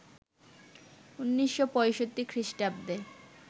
১৯৬৫ খ্রিস্টাব্দে